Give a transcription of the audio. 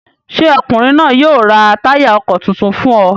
Ṣé ọkùnrin náà yóò ra táyà ọkọ̀ tuntun fún ọ?